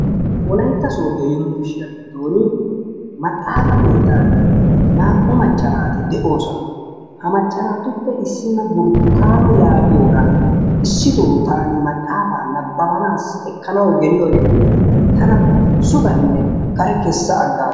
Wolaytta soddo yunburushshiyaa giddon maxaafa keettaan naa"u macaa naati de"oosona. Ha macca naatuppe issina burttukaano yaagiyoora issitoo taani maxaafaa nabbabanaasi ekkanawu geliyoorin tana sugganee kare keessa aggaasu.